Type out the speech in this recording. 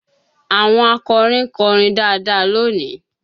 Àwọn akọrin kọrin dáadáa lónìí